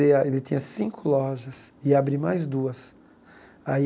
ele tinha cinco lojas e ia abrir mais duas. Aí